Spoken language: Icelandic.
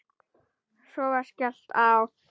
Svo var skellt á.